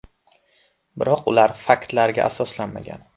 Biroq ular faktlarga asoslanmagan.